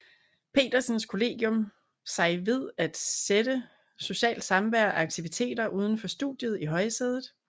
Petersens Kollegium sig ved at sætte socialt samvær og aktiviteter uden for studiet i højsædet